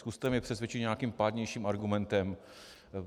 Zkuste mě přesvědčit nějakým pádnějším argumentem.